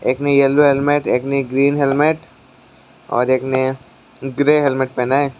एक ने yellow helmet एक ने ग्रीन हेलमेट और एक ने ग्रे हेलमेट पहना है।